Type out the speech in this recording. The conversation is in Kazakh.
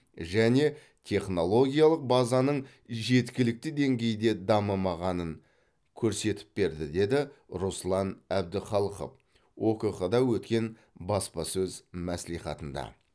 және технологиялық базаның жеткілікті деңгейде дамымағанын көрсетіп берді деді руслан әбдіхалықов окқ да өткен баспасөз мәслихатында